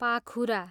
पाखुरा